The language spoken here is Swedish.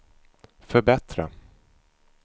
förbättra